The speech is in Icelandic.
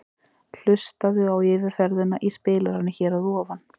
Hlustaðu á yfirferðina í spilaranum hér að ofan.